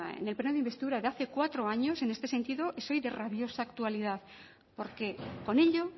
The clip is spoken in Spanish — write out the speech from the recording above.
en el pleno de investidura de hace cuatro años en este sentido es hoy de rabiosa actualidad porque con ello